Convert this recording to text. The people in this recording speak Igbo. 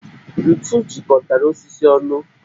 Ntù jikọtara osisi onụ